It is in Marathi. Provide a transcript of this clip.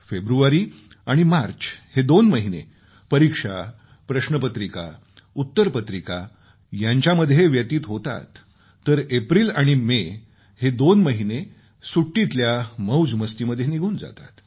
फेब्रुवारी आणि मार्च हे दोन महिने परीक्षा प्रश्नपत्रिका उत्तरपत्रिका यांच्यामध्ये व्यतीत होतात तर एप्रिल आणि मे हे दोन महिने सुट्टीतल्या मौज मस्तीमध्ये निघून जातात